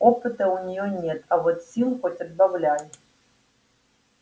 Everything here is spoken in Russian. опыта у неё нет а вот сил хоть отбавляй